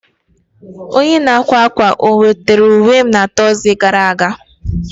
Onye n'akwa akwa o wetara uwe m na Tọzdee gara aga?